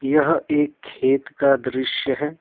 यह एक खेत का दृश्य है।